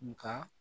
Nga